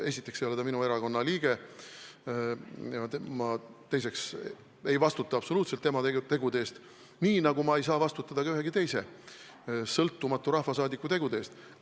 Esiteks ei ole ta minu erakonna liige ja teiseks ma ei vastuta absoluutselt tema tegude eest, nii nagu ma ei saa vastutada ka ühegi teise sõltumatu rahvasaadiku tegude eest.